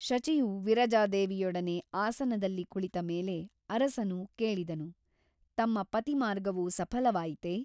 ಶಚಿಯು ವಿರಜಾದೇವಿಯೊಡನೆ ಆಸನದಲ್ಲಿ ಕುಳಿತ ಮೇಲೆ ಅರಸನು ಕೇಳಿದನು ತಮ್ಮ ಪತಿಮಾರ್ಗವು ಸಫಲವಾಯಿತೆ ?